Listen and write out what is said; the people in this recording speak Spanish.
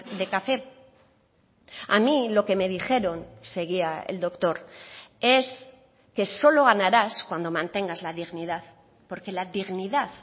de café a mí lo que me dijeron seguía el doctor es que solo ganarás cuando mantengas la dignidad porque la dignidad